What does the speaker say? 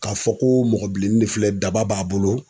K'a fɔ ko mɔgɔ bilennin de filɛ daba b'a bolo